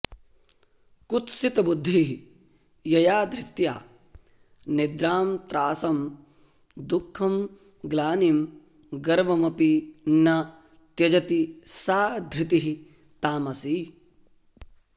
कुत्सितबुद्धिः यया धृत्या निद्रां त्रासं दुःखं ग्लानिं गर्वमपि न त्यजति सा धृतिः तामसी